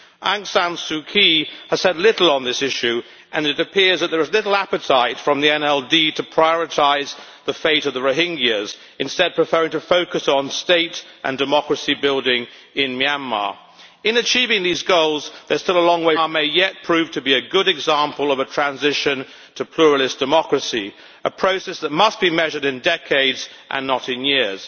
Aung San Suu Kyi has said little on this issue and it appears that there is little appetite from the NLD to prioritise the fate of the Rohingyas, instead preferring to focus on state and democracy building in Myanmar. In achieving these goals there is still a long way to go. But Myanmar may yet prove to be a good example of a transition to pluralist democracy, a process that must be measured in decades, and not in years.